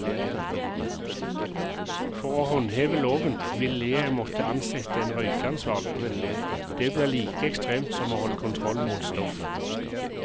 For å håndheve loven ville jeg måtte ansette en røykeansvarlig, det blir like ekstremt som å holde kontroll mot stoff.